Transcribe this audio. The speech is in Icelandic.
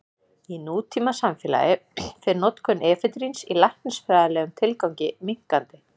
Í nútímasamfélagi fer notkun efedríns í læknisfræðilegum tilgangi minnkandi.